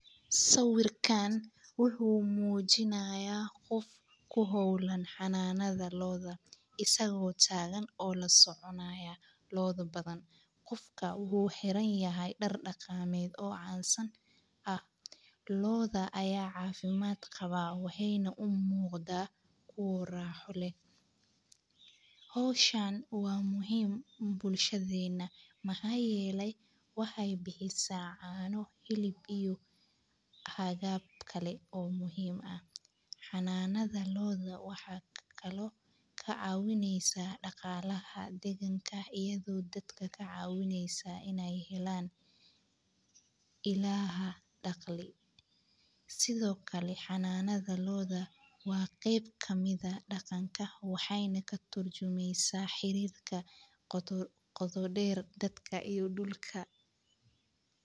Sawirkaan wuxu mujinaya qoof ku hawlan xananada lo`oda isago tagan oo lasoconaya lo`odha badan. Qofka wuxu xiranyahay daar daqameed oo cansaan aah. Lo`oda aya cafimaad qawa waxayna u muqda kuwa raaxo leeh. Hawshaan waa muhiim bulshadeyna maxa yeele waxay bixisa; caano, xilib iyo aqab kale oo muhiim ah. Xananada lo`oda waxa kalo kacawinaysa dagalaga daganka iyadho dadka kacawinaysa inay helaan illah daaqli. Sidho kale xananada lo`oda wa qayb kamid aah daqanka waxay na katurjumaysa xarirka qooto deer dadka iyo dulka.